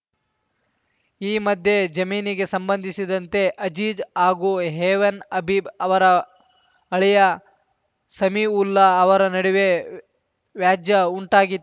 ಈ ಮಧ್ಯೆ ಈ ಜಮೀನಿಗೆ ಸಂಬಂಧಿಸಿದಂತೆ ಅಜೀಜ್‌ ಹಾಗೂ ಹೆವನ್‌ ಹಬೀಬ್‌ ಅವರ ಅಳಿಯ ಸಮೀವುಲ್ಲಾ ಅವರ ನಡುವೆ ವ್ಯಾ ವ್ಯಾಜ್ಯಉಂಟಾಗಿ